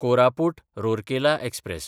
Koraput Rourkela express